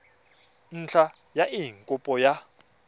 ntlha ya eng kopo ya